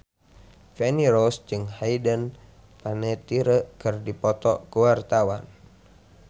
Feni Rose jeung Hayden Panettiere keur dipoto ku wartawan